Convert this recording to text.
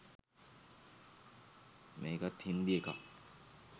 මේකත් හින්දි එකක්